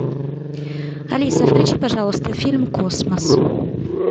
алиса включи пожалуйста фильм космос